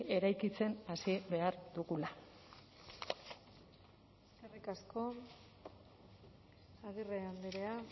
eraikitzen hasi behar dugula eskerrik asko agirre andrea